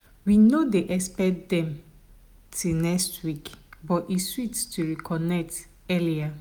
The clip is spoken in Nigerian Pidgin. we no expect dem till next week but e sweet to reconnect earlier.